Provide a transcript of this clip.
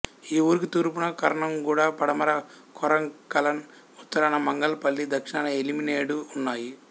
ఈ ఊరికి తూర్పున కర్నంగూడ పడమర కొంగరకలాన్ ఉత్తరాన మంగల్ పల్లి దక్షిణాన ఎలిమినేడు ఉన్నాయి